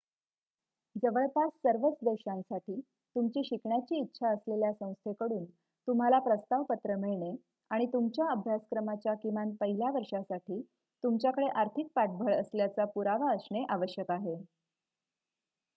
जवळपास सर्वच देशांसाठी तुमची शिकण्याची इच्छा असलेल्या संस्थेकडून तुम्हाला प्रस्ताव पत्र मिळणे आणि तुमच्या अभ्यासक्रमाच्या किमान पहिल्या वर्षासाठी तुमच्याकडे आर्थिक पाठबळ असल्याचा पुरावा असणे आवश्यक आहे